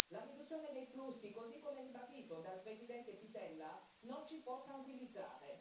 La riduzione dei flussi, così come ribadito dal presidente Pittella, non ci può tranquillizzare.